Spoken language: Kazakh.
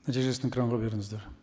нәтижесін экранға беріңіздер